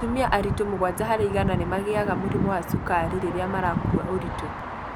Ta atumia aritũ mũgwanja harĩ igana nĩ mangĩanga mũrimũ wa cukaro rĩrĩa marakua ũritũ.